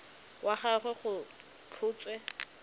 wa ga gagwe go tlhotswe